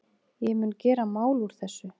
Ég mun gera mál úr þessu.